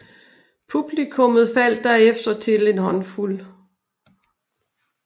Publikummet faldt derefter til en håndfuld